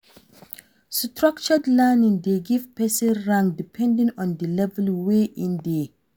Structured learning de give person rank depending on di level wey in de